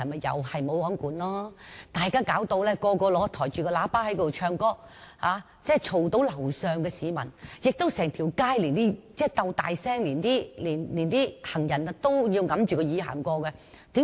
就是"無皇管"，人人也使用擴音器唱歌，騷擾到樓上的居民，整條街的人也像在鬥大聲，行人經過也要掩着耳朵。